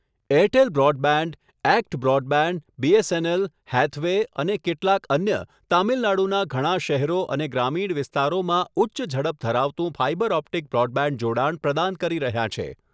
Airtel broadband, ACT broadband, BSNL, Hathway અને કેટલાક અન્ય તામિલનાડુના ઘણા શહેરો અને ગ્રામીણ વિસ્તારોમાં ઉચ્ચ ઝડપ ધરાવતું ફાઇબર ઓપ્ટિક બ્રોડબેન્ડ જોડાણ પ્રદાન કરી રહ્યાં છે.